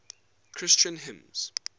christian hymns